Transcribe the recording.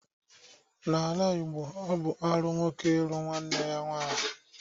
N'ala Igbo, ọ bụ arụ nwoke ịlụ nwanne ya nwaanyị.